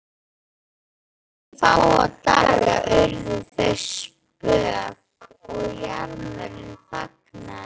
Eftir fáa daga urðu þau spök og jarmurinn þagnaði.